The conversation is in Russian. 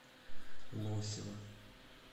лосева